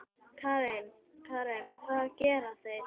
Karen: Hvað gera þeir?